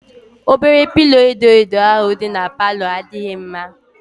Obere pilo edo edo ahụ dị n'palo adịghị mma